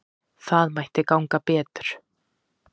Það mætti ganga betur.